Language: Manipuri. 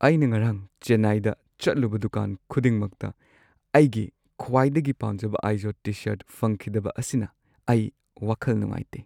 ꯑꯩꯅ ꯉꯔꯥꯡ ꯆꯦꯟꯅꯥꯏꯗ ꯆꯠꯂꯨꯕ ꯗꯨꯀꯥꯟ ꯈꯨꯗꯤꯡꯃꯛꯇ ꯑꯩꯒꯤ ꯈ꯭ꯋꯥꯏꯗꯒꯤ ꯄꯥꯝꯖꯕ ꯑꯥꯏꯖꯣꯗ ꯇꯤ-ꯁꯔꯠ ꯐꯪꯈꯤꯗꯕ ꯑꯁꯤꯅ ꯑꯩ ꯋꯥꯈꯜ ꯅꯨꯡꯉꯥꯏꯇꯦ꯫